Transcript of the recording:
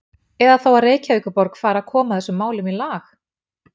Eða þá að Reykjavíkurborg fari að koma þessum málum í lag?